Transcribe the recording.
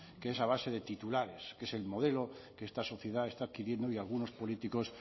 que es a base de titulares que es el modelo que esta sociedad está adquiriendo y a algunos políticos